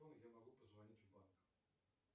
я могу позвонить в банк